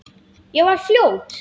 Ég var fljót.